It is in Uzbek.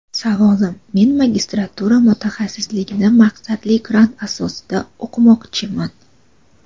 Savolim men magistratura mutaxassisligini maqsadli grant asosida o‘qimoqchiman.